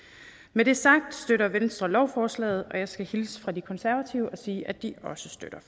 med det sagt støtter venstre lovforslaget og jeg skal hilse fra de konservative og sige at de også støtter